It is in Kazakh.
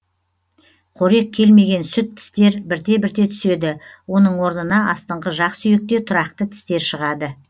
қорек келмеген сүт тістер бірте бірте түседі оның орнына астыңғы жақсүйекте тұрақты тістер шығады